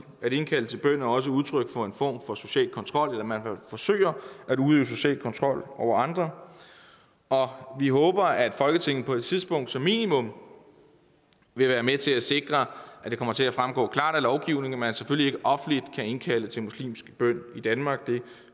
at indkalde til bøn er også udtryk for en form for social kontrol eller man forsøger at udøve social kontrol over andre og og vi håber at folketinget på et tidspunkt som minimum vil være med til at sikre at det kommer til at fremgå klart af lovgivningen at man selvfølgelig ikke offentligt kan indkalde til muslimsk bøn i danmark det